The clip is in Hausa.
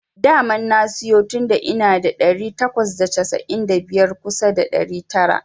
Daman na siyo tunda ina da ɗari takwas da casa'in da biyar kusa ɗari tara.